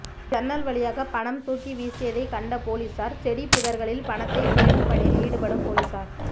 ஜன்னல் வழியாக பணம் தூக்கி வீசியதைக் கண்ட போலீஸாா் செடி புதா்களில் பணத்தை தேடும் பணியில் ஈடுபடும் போலீஸாா்